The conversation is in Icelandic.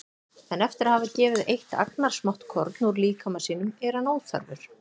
En eftir að hafa gefið eitt agnarsmátt korn úr líkama sínum er hann óþarfur.